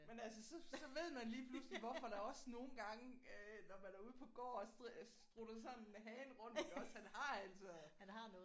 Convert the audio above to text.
Men altså så så ved man lige pludselig hvorfor der også nogle gange øh når man er ude på gård og strutter sådan en hane rundt sådan iggås han har altså